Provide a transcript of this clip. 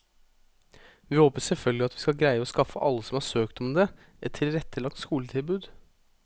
Vi håper selvfølgelig at vi skal greie å skaffe alle som har søkt om det, et tilrettelagt skoletilbud.